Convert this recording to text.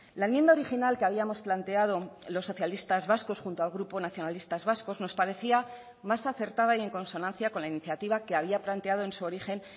la enmienda original que habíamos planteado los socialistas vascos junto al grupo nacionalistas vascos nos parecía más acertada y en consonancia con la iniciativa que había planteado en su origen